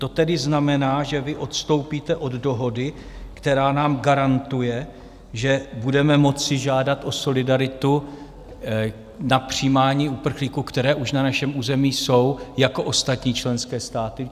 To tedy znamená, že vy odstoupíte od dohody, která nám garantuje, že budeme moci žádat o solidaritu na přijímání uprchlíků, kteří už na našem území jsou, jako ostatní členské státy.